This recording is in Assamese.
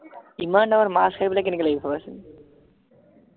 ইমান ডাঙৰ মাছ খাই পেলায় কেনেকা লাগিব ভাবাচোন